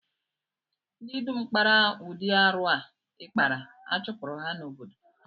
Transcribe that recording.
Ndi dum kpara ụdị arụ a ị kpara, a chụpụrụ ha n'obodo